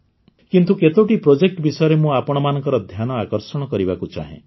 କିନ୍ତୁ କେତୋଟି ପ୍ରୋଜେକ୍ଟ ବିଷୟରେ ମୁଁ ଆପଣମାନଙ୍କର ଧ୍ୟାନ ଆକର୍ଷଣ କରିବାକୁ ଚାହେଁ